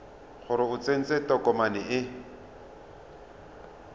gore o tsentse tokomane e